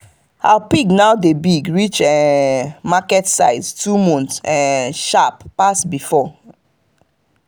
our pig now dey big reach um market size two month um sharp pass before. um